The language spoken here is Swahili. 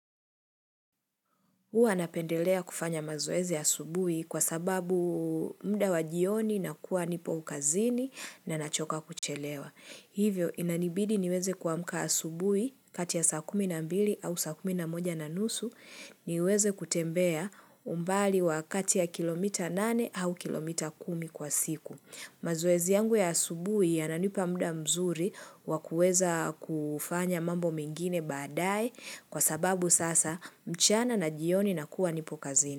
Huwa napendelea kufanya mazoezi asubuhi kwa sababu muda wa jioni nakuwa nipo kazini na nachoka kuchelewa. Hivyo inanibidi niweze kuamka asubuhi kati ya saa kumi na mbili au saa kumi na moja na nusu niweze kutembea umbali wakati ya kilomita nane au kilomita kumi kwa siku. Mazoezi yangu ya asubuhi yananipa muda mzuri wa kuweza kufanya mambo mengine baadae kwa sababu sasa mchana na jioni na kuwa nipo kazini.